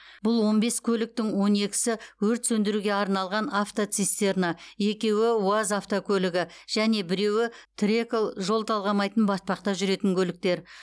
бұл он бес көліктің он екісі өрт сөндіруге арналған автоцистерна екеуі уаз автокөлігі және біреуі трэкол жол талғамайтын батпақта жүретін көліктер